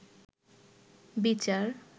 বিচার